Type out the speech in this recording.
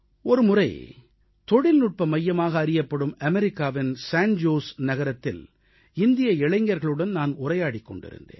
ஒருமுறை தொழில்நுட்ப மையமாக அறியப்படும் அமெரிக்காவின் சான் ஜோஸ் சான் ஜோஸ் நகரத்தில் இந்திய இளைஞர்களுடன் நான் உரையாடிக் கொண்டிருந்தேன்